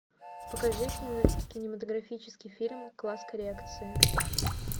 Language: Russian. покажи кинематографический фильм класс коррекции